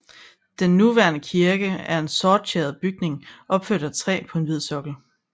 Den nuværende kirke er en sorttjæret bygning opført af træ på en hvid sokkel